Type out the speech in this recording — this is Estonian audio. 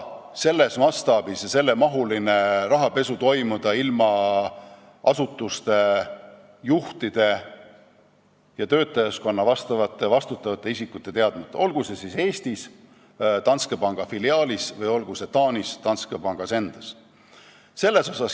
Sellises mastaabis ja sellise mahuga rahapesu ei saa toimuda asutuse juhtide ja vastutavate isikute teadmata, olgu see siis Eestis Danske panga filiaalis või Taanis Danske pangas endas.